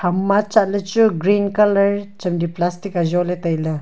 ima chatley chu green colour chemley plastic ajoley tailey.